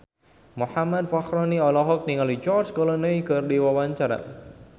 Muhammad Fachroni olohok ningali George Clooney keur diwawancara